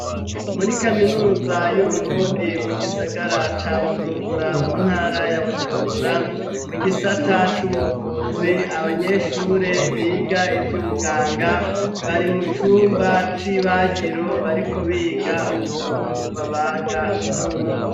Muri kaminuza y'uburundi mu gisagara ca bujumbura mu ntara ya bujumbura mu gisata c'ubuvuzi abanyeshure biga ivy'ubuganga bari mu cumba c'ibagiro bariko biga ukuntu babaga umuntu.